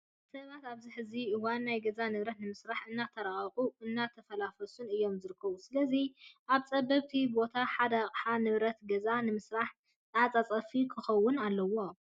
ሰባት ኣብዚ ሕዚ እዋን ናይ ገዛ ንብረታት ንምስራን እናተራቀቁን እናተፈላሰፉን እዮም ዝርከቡ። ስለዚ ኣብ ፀበብቲ ቦታታት ሓደ ኣቅሓ (ንብረት ገዛ ) ንምስራሕ ተዓፃፊ ክኸውን ኣለዎ።